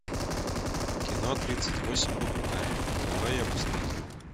кино тридцать восемь попугаев давай я посмотрю